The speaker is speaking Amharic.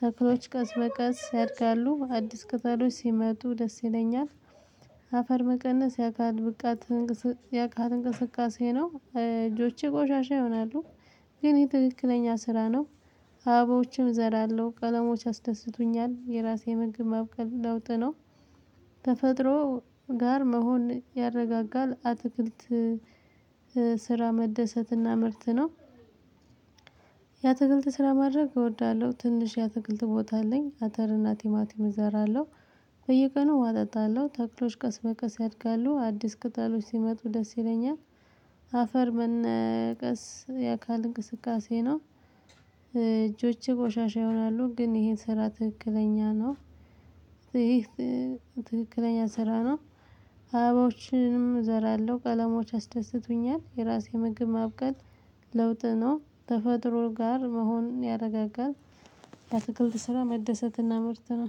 ተክሎች ቀስ በቀስ ያድጋሉ አዲስ ቅጠሎች ሲመጡ ደስ ይለኛል። አፈር መቀነስ የአካል ብቃት እንቅስ የአካል እንቅስቃሴ ነው እጆቼ ቆሻሻ ይሆናሉ። ግን የትክክለኛ ስራ አበባዎችን እዘራለሁ ቀለሞች ያስደስቱኛል የራሴ ምግብ ማብቀል ለውጥ ነው። ተፈጥሮ ጋር መሆን ያረጋጋል አትክልት ስራ መደሰት እና ምርት ነው። የአትክልት ስራ ማድረግ እወዳለሁ ትንሽ የአትክልት ቦታ አለኝ። አተር እና ቲማቲም እዘራለሁ። በየቀኑ ውሃ አጠጣለሁ ተክሎች ቀስ በቀስ ያድጋሉ አዲስ ቅጣሎች ሲመጡ ደስ ይለኛል። አፈር መነቀስ የአካል እንቅስቃሴ ነው። እጆቼ ቆሻሻ ይሆናሉ ግን ይሄ ስራ ትክክለኛ ነው። ይህ ትክክለኛ ስራ ነው። አበባዎችንም እዘራለሁ ቀለሞች ያስደስቱኛል የራሴ ምግብ ማብቀል ለውጥ ነው ተፈጥሮ ጋር መሆን ያረጋጋል። የአትክልት ስራ መደሰት እና ምርት ነው